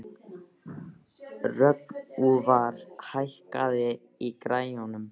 Rögnvar, hækkaðu í græjunum.